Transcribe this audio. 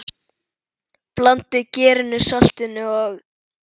Blandið gerinu, saltinu og?